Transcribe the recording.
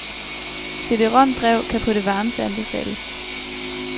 CD rom drev kan på det varmeste anbefales.